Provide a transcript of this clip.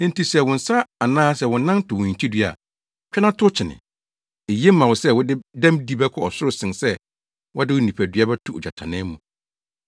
Enti sɛ wo nsa anaa wo nan to wo hintidua a, twa na tow kyene. Eye ma wo sɛ wode dɛmdi bɛkɔ ɔsoro sen sɛ wɔde wo nipamu bɛto ogyatannaa mu.